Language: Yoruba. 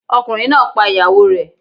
Ọkùnrin náà pa ìyàwó rẹ̀